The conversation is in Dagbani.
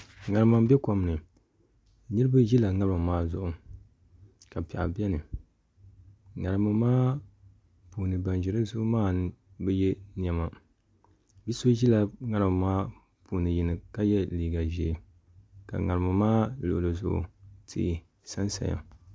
ŋarima n bɛ kom ni niraba ʒila ŋarima maa zuɣu ka piɛɣu biɛni ŋarima maa puuni ban ʒi di zuɣu maa bi yɛ niɛma bi so ʒila ŋarima maa puuni yini ka yɛ liiga ʒiɛ ka ŋarima maa luɣuli zuɣu tihi sansaya